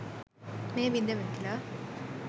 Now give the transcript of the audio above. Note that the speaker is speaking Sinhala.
මෙය බිඳවැටිලා.